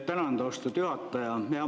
Tänan, austatud juhataja!